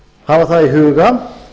hafa það í huga